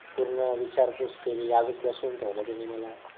पूर्ण विचारपुस केली अजून बसून ठेवलं त्यांनी मला